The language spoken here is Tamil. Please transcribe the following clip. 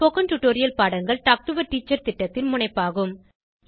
ஸ்போகன் டுடோரியல் பாடங்கள் டாக் டு எ டீச்சர் திட்டத்தின் முனைப்பாகும்